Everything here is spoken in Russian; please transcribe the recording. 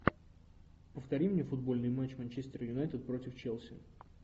повтори мне футбольный матч манчестер юнайтед против челси